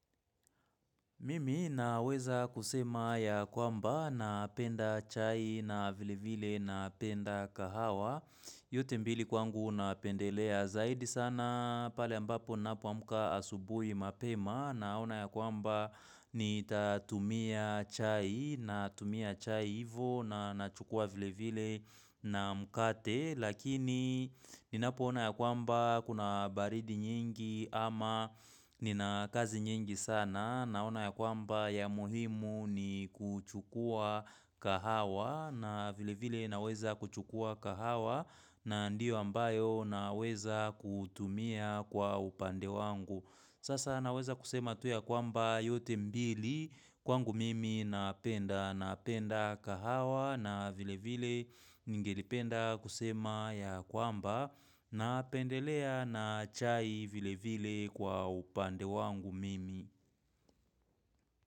Mimi naweza kusema ya kwamba napenda chai na vile vile napenda kahawa yote mbili kwangu napendelea zaidi sana Pali ambapo napoamuka asubui mapema Naona ya kwamba nitatumia chai natumia chai ivo na nachukua vile vile na mkate Lakini ninapoona ya kwamba kuna baridi nyingi ama nina kazi nyingi sana na naona ya kwamba ya muhimu ni kuchukua kahawa na vile vile naweza kuchukua kahawa na ndiyo ambayo naweza kutumia kwa upande wangu. Sasa naweza kusema tu ya kwamba yote mbili kwangu mimi napenda. Napenda kahawa na vile vile ningelipenda kusema ya kwamba napendelea na chai vile vile kwa upande wangu mimi.